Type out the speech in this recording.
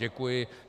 Děkuji.